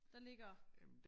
Der ligger